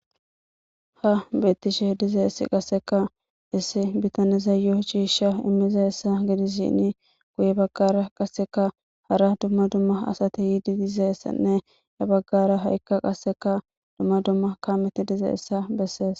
Ha betishe dizzay issi bittaniyyo cisha imishe dizayssaguye bagara hara dumma dumma asay durishe dizaya habagara qasikka dumma dumma kameti dizzayssa besses.